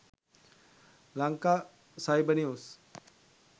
lanka cyber news